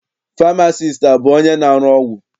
Famasiisti abụ onye na-arụ ọgwụ?